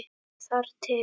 Þar til